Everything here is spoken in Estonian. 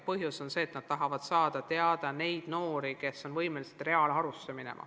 Põhjus on see, et koolid tahavad teada saada, millised noored on võimelised minema reaalharusse.